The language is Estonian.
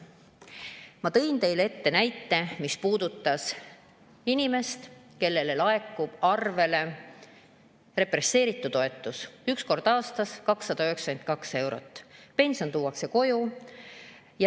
" Ma tõin teile näite, mis puudutas inimest, kellele laekub arvele represseeritu toetus, üks kord aastas 292 eurot, ja pension tuuakse koju.